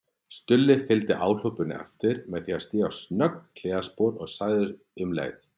Stulli fylgdi áhlaupinu eftir með því að stíga snöggt hliðarspor og sagði um leið